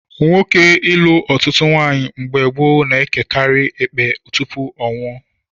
Nwoke ilu ọtụtụ ụmụnwaanyị mgbe gboo na-ekerịrị ekpe tupu ọ nwụọ